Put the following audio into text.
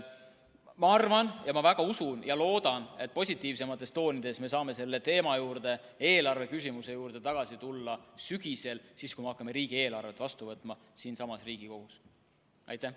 Ma arvan ja väga usun ja loodan, et positiivsemates toonides me saame selle teema juurde, eelarveküsimuse juurde tagasi tulla sügisel, kui me hakkame riigieelarvet siinsamas Riigikogus vastu võtma.